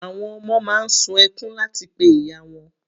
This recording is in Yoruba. Àwọn ọmọ máa ń sun ẹkún láti pe ìyá wọn.